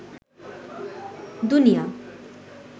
দুনিয়া